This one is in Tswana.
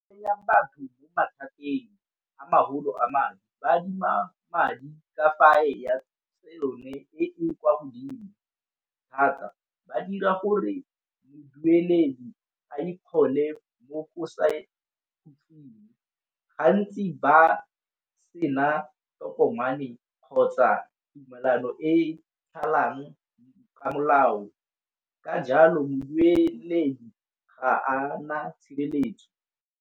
batho mo mathateng a magolo a madi, ba adima madi ka yone e ne kwa godimo thata. Ba dira gore mmueledi a ikgole mo o sa . Gantsi ba sena ditokomane kgotsa tumalano e e thalang ka molao ka jalo mmueledi ga ana tshireletso.